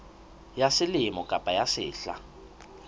ya selemo kapa ya sehla